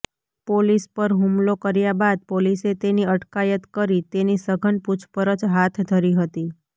police પર હુમલો કર્યા બાદ પોલીસે તેની અટકાયત કરી તેની સઘન પૂછપરછ હાથ ધરી હતી